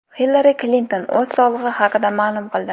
Hillari Klinton o‘z sog‘lig‘i haqida ma’lum qildi.